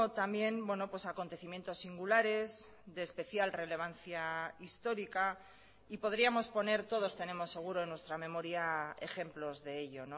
también acontecimientos singulares de especial relevancia histórica y podríamos poner todos tenemos seguro en nuestra memoria ejemplos de ello